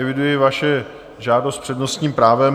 Eviduji vaši žádost s přednostním právem.